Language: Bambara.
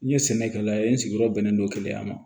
N ye sɛnɛkɛla ye n sigiyɔrɔ bɛnnen don keleya ma